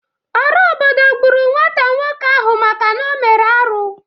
Ora obodo gburu nwata nwoke ahu maka na o mere arụ